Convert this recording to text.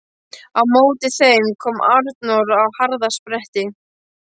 Á móti þeim kom Arnór á harða spretti.